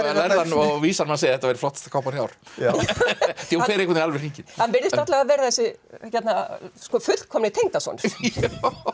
lærðan og vísan mann segja að þetta væri flottasta kápan í ár því hún fer einhvern alveg hringinn hann virðist alla vega vera þessi fullkomni tengdasonur